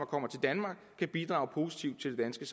kommer til danmark kan bidrage positivt til det